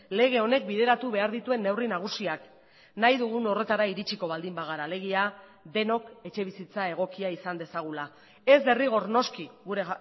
lege honek bideratu behar dituen neurri nagusiak nahi dugun horretara iritsiko baldin bagara alegia denok etxebizitza egokia izan dezagula ez derrigor noski gure